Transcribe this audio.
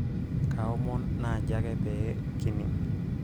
kaaomon naaji ake pee kinining'